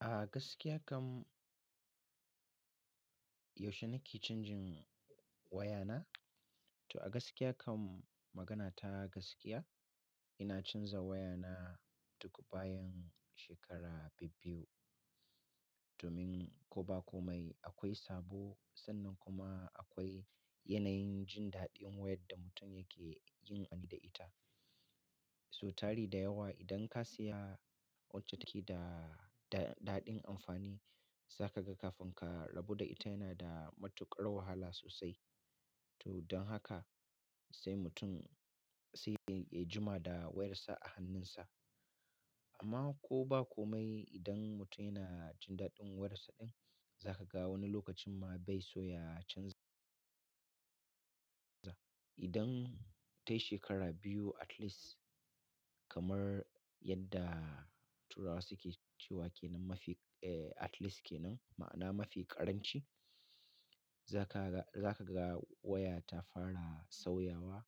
A gaskiya kam, yaushe na ke canjin wayana? To a gaskiya kam, magana ta gaskiya ina canza wayana duk bayan shekara bi-biyu. Domin ko ba komai akwai sabo, sannan kuma akwai yanayin jin daɗin wayar da mutum yake yin amfani da ita. So tari da yawa idan ka saya wacce take da daɗin amfani, zaka ga kafin ka rabu da ita yana da matuƙar wahala sosai. To don haka sai mutum sai dai ya jima da wayarsa a hannunsa. Amma ko ba komai idan mutum yana jin daɗin wayarsa din, zaka ga wani lokacin ma bai so ya canza. Idan tayi shekara biyu atleast kamar yadda turawa suke cewa "ke nan mafi, eh at least ke nan", ma'ana mafi ƙaranci, za ka ga, za ka ga waya ta fara sauyawa.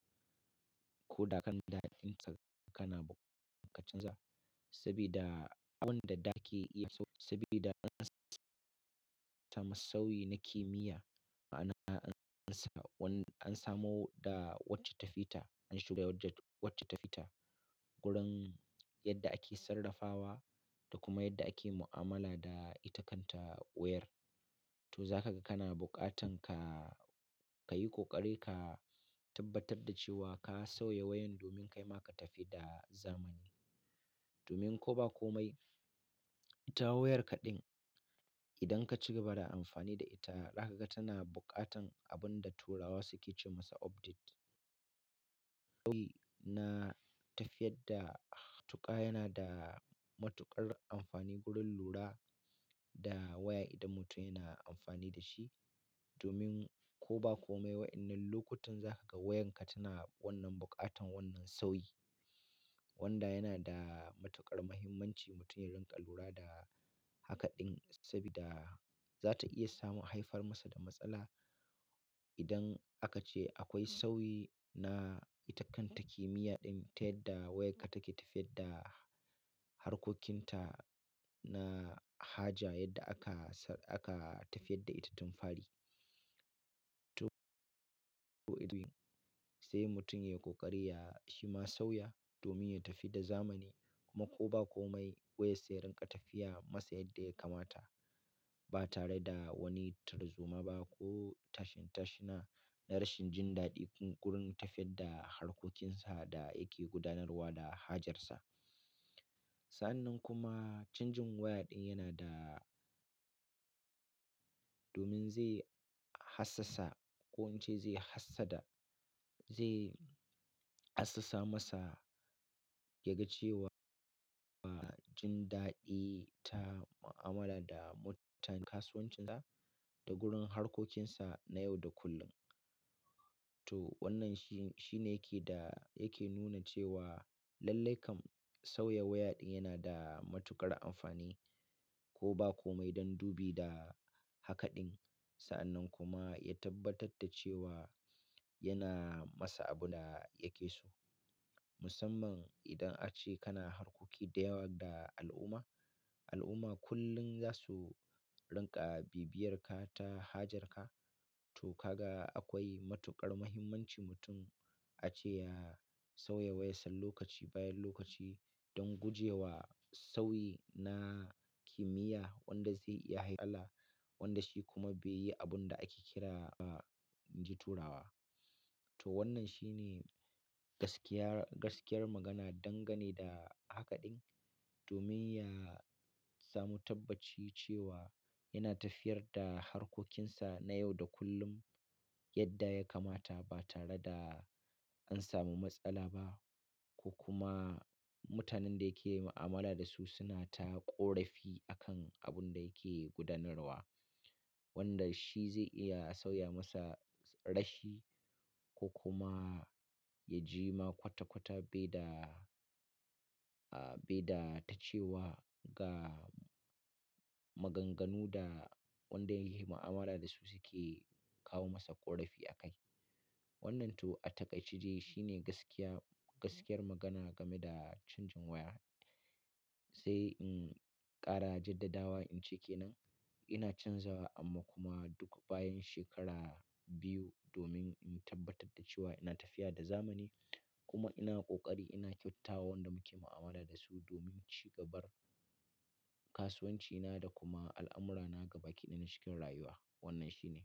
Ko da kan daɗin ta kana buƙatar ka canza. Saboda abun da take iya, saboda musawi na kimiyya ma'ana an samu wanda an samu da wacce ta fita, an shiga wacce ta fita. Gurin yadda ake sarrafawa da kuma yadda ake mu'amala da ita kanta wayar. To za ka ga kana buƙatan ka yi ƙoƙari ka tabbatar da cewa ka sauya wayan domin kai ma ka tafi da zamani. Domin ko ba komai, ita wayarka din idan ka cigaba da amfani da ita, za ka ga tana buƙatan abun da turawa suke ce masa update. Sauyi na tafiyar da tuka yana da matuƙar amfani gurin lura da waya idan mutum yana amfani da shi. Domin ko ba komai, waɗannan lokutan za ka ga wayarka tana wannan buƙatan wannan sauyi. Wanda yana da matuƙar muhimmanci mutum ya rinƙa lura da haka din saboda za ta iya samu haifar masa da matsala. Idan aka ce akwai sauyi na ita kanta kimiyya din ta yadda wayarka take tafiyar da harkokinta na haja yadda aka tafiyar da ita tun fari. To sai mutum ya yi ƙoƙari ya yi ma sauya domin ya tafi da zamani. Kuma ko ba komai wayar sai rinƙa tafiya masa yadda ya kamata ba tare da wani tarzoma ba ko tashin-tashina na rashin jin daɗi gurin tafiyar da harkokinsa da yake gudanarwa da hajarsa. Sa'annan kuma canjin waya din yana da, domin zai hassasa ko in ce zai hassada, zai hassasa masa ya ga cewa ba jin daɗi ta mu'amala da mutanen kasuwancinsa da gurin harkokinsa na yau da kullum. To wannan shi, shi ne yake da yake nuna cewa lallai kam sauya waya din yana da matuƙar amfani. Ko ba komai don dubi da haka din. Sa'annan kuma ya tabbatar da cewa yana masa abun da yake so. Musamman idan ace kana harkoki da yawa da al'umma, al'umma kullum za su rinƙa bibiyar ka ta hajarka. To kaga akwai matuƙar muhimmanci mutum a ce ya sauya wayarsa lokaci bayan lokaci don gujewa sauyi na kimiyya wanda zai iya haifar da matsala wanda shi kuma bai yi abun da ake kira ba, ji turawa. To wannan shi ne gaskiya, gaskiyar magana dangane da haka din. Domin ya samu tabbaci cewa yana tafiyar da harkokinsa na yau da kullum yadda ya kamata ba tare da an samu matsala ba. Ko kuma mutanen da yake yi mu'amala da su suna ta ƙorafi a kan abun da yake gudanarwa. Wanda shi zai iya sauya masa rashi ko kuma ya jima kwata-kwata baida, baida ta cewa ga maganganu da waɗanda yake yi mu'amala da su suke kawo masa ƙorafi a kai. Wannan to a takaici jiya shi ne gaskiya, gaskiyar magana game da canjin waya. Sai in ƙara jadadawa in ce ke nan ina canza amma kuma duk bayan shekara biyu domin in tabbatar da cewa ina tafiya da zamani. Kuma ina ƙoƙari ina kyautatawa waɗanda muke mu'amala da su domin cigabar kasuwancina da kuma al'amurana gaba ƙiɗan cikin rayuwa. Wannan shi ne.